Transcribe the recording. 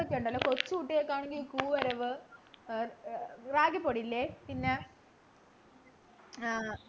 ഒക്കെയുണ്ടല്ലോ കൊച്ചു കുട്ടികൾക്കാണെങ്കില് ഏർ റാഗിപ്പൊടി ഇല്ലേ പിന്നെ ആഹ്